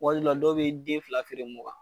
Waati dɔw la dɔw bɛ den fila feere mugan.